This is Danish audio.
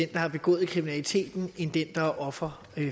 der har begået kriminaliteten end den der er offer